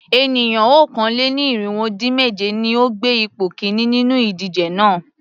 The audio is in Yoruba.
Ènìyàn okòó-lé-ní-irínwó-dín-mèje ni ó gbé ipò kìíní nínú ìdíje náà.